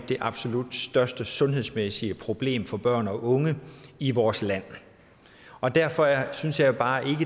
det absolut største sundhedsmæssige problem for børn og unge i vores land og derfor synes jeg bare ikke